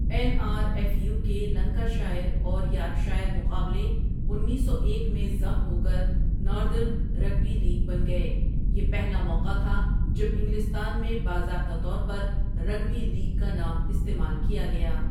N R F U کے Lancashire اور Yorkshire مقابلے انیسو ایک میں ضم ہوکر ناردرن رگبی لیگ بن گیے، یہ پہلا موقع تھا جب انگلستان میں باضابطہ طور پر رگبی لیگ کا نام استعمال کیا گیا.